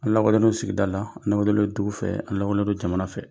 An lawalelen sigida la an lawalelen don dugu fɛ ani an lawalelen don jamana fɛ